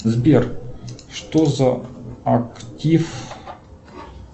сбер что за актив